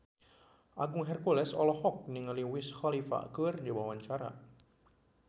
Agung Hercules olohok ningali Wiz Khalifa keur diwawancara